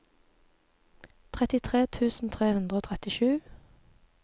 trettitre tusen tre hundre og trettisju